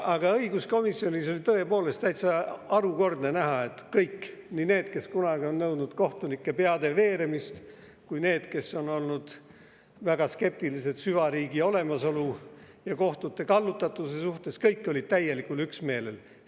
Aga õiguskomisjonis oli tõepoolest täitsa harukordne näha, et nii need, kes kunagi on nõudnud kohtunike peade veeremist, kui ka need, kes on olnud väga skeptilised süvariigi olemasolu ja kohtute kallutatuse suhtes – kõik olid täielikul üksmeelel.